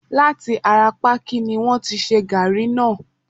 láti ará pákí ni wọ́n ti ṣe gaàrí náà.